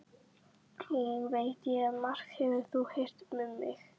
Einnig veit ég að margt hefur þú heyrt um mig.